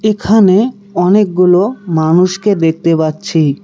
এখানে অনেকগুলো মানুষকে দেখতে পাচ্ছি।